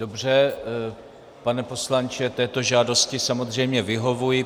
Dobře, pane poslanče, této žádosti samozřejmě vyhovuji.